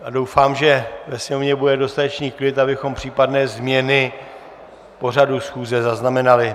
A doufám, že ve Sněmovně bude dostatečný klid, abychom případné změny pořadu schůze zaznamenali.